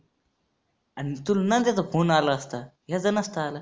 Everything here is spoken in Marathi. आणि तुला नंद्याचा phone आला असता, ह्याचा नसता आला.